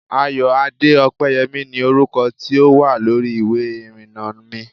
Ayoade Opeyemi ni orúkọ tí ó wà lórí ìwé ìrìnnà mi